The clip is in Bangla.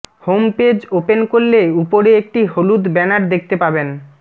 হোম পেজ ওপেন করলে উপরে একটি হলুদ ব্যানার দেখতে পাবেন